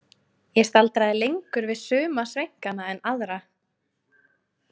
Ég staldraði lengur við suma sveinkana en aðra.